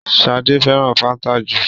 Shade féràn fanta jù.